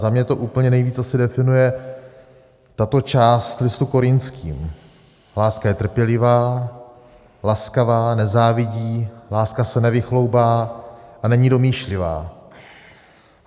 Za mě to úplně nejvíc asi definuje tato část Listu Korintským: Láska je trpělivá, laskavá, nezávidí, láska se nevychloubá a není domýšlivá.